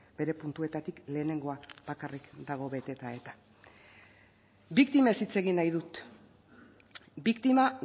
bere puntuetatik lehenengoa bakarrik dago beteta eta biktimez hitz egin nahi dut biktima